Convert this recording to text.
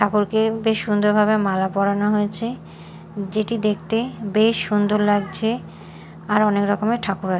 ঠাকুরকে বেশ সুন্দরভাবে মালা পরানো হয়েছে যেটি দেখতে বেশ সুন্দর লাগছে আর অনেক রকমের ঠাকুর আ--